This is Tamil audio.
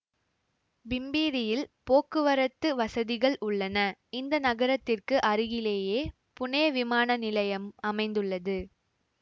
பிம்பிரியில் போக்குவரத்து வசதிகள் உள்ளன இந்த நகரத்திற்கு அருகிலேயே புனே விமான நிலையம் அமைந்துள்ளது